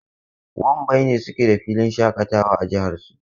Wambai ne suke da filin shaƙatawa a jihar su.